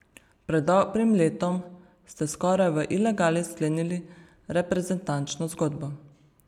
Pred dobrim letom ste skoraj v ilegali sklenili reprezentančno zgodbo.